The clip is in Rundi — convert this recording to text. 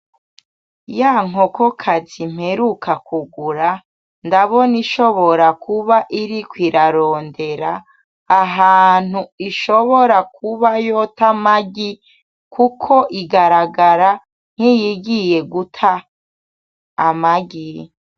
Ya nkokokazi mperuka kugura, ndabona ishobora kuba iriko irarondera ahantu ishobora kuba yota amagi. Kuko igaragara nk' iyigiye guta amagi.